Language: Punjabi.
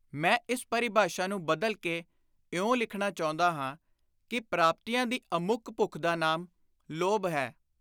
ਮੈਂ ਇਸ ਪਰਿਭਾਸ਼ਾ ਨੂੰ ਬਦਲ ਕੇ ਇਉਂ ਲਿਖਣਾ ਚਾਹੁੰਦਾ ਹਾਂ ਕਿ “ਪ੍ਰਾਪਤੀਆਂ ਦੀ ਅਮੁੱਕ ਭੁੱਖ ਦਾ ਨਾਮ ਲੋਭ ਹੈ।